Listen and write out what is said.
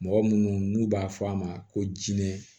Mɔgɔ munnu n'u b'a fɔ a ma ko jinɛ